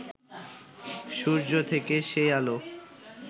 সূর্য থেকে সেই আলো